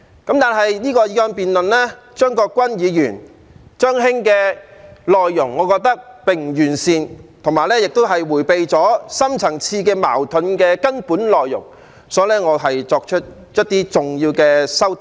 然而，我認為張國鈞議員這項議案辯論的內容並不完善，亦迴避了深層次矛盾的根本內容，因此，我作出了一些重要的修訂。